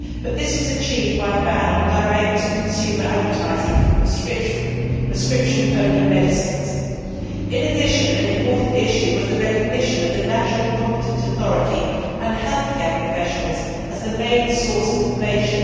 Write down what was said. This was achieved by a ban on direct consumer advertising for prescription only medicines. In addition, an important issue was the recognition of the national competent authority and healthcare professionals as the main source of information.